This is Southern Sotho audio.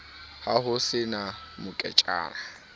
ha ho sa na moketjana